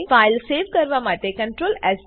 file save કરવા માટે CTRL S